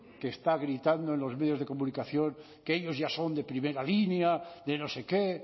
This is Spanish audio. que está gritando en los medios de comunicación que ellos ya son de primera línea de no sé qué